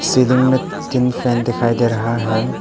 Ceiling में तीन fan दिखाई दे रहा है।